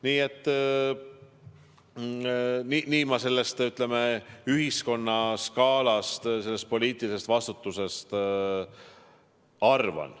Nii et nii ma sellest, ütleme, ühiskonnaskaalast, sellest poliitilisest vastutusest arvan.